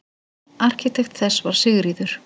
Arkitekt þess var Sigríður